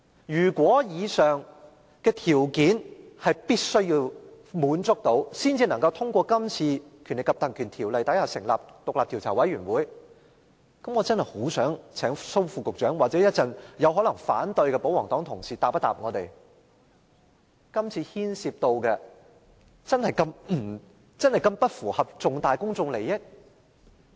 如果必須滿足以上條件，才能引用《條例》成立專責委員會，我真的很想請蘇副局長或稍後可能反對議案的保皇黨同事回答我們，這次牽涉的事宜真的不符合重大公眾利益嗎？